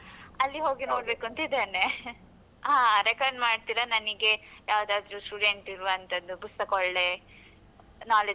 ಅಲ್ಲಿ ಹೋಗಿ ನೋಡ್ಬೇಕು ಅಂತ ಇದ್ದೇನೆ. ಹಾ refer ಮಾಡ್ತೀರಾ ನನ್ಗೆ ಯಾವುದಾದ್ರೂ student ಇರುವಂತದ್ದು ಪುಸ್ತಕ ಒಳ್ಳೆ knowledge ಸಿಗುವಂತದ್ದೆಲ್ಲ.